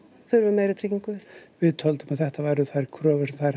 þurfum meiri tryggingu við töldum að þetta væru þær kröfur sem þær